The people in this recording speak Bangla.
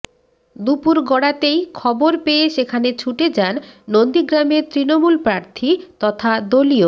দুপুর গড়াতেই খবর পেয়ে সেখানে ছুটে যান নন্দীগ্রামের তৃণমূল প্রার্থী তথা দলীয়